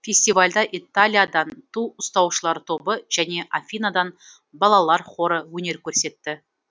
фестивальда италиядан ту ұстаушылар тобы және афинадан балалар хоры өнер көрсетті